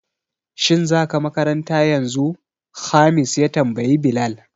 Shin za ka makaranta yanzu? Khamis ya tambayi Bilal